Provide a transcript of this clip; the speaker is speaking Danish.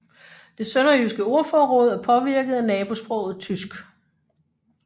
Det sønderjyske ordforråd er påvirket af nabosproget tysk